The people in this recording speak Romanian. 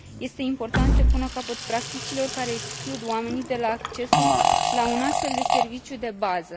Este important să se pună capăt practicilor care exclud oamenii de la accesul la un astfel de serviciu de bază.